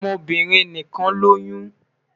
Awọn ọmọbirin nikan loyun